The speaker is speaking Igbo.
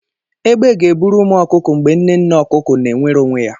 Egbe ga-eburu ụmụ ọkụkọ mgbe nne nne okuko na-enwere onwe ya.